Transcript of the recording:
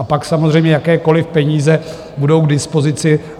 A pak samozřejmě jakékoliv peníze budou k dispozici.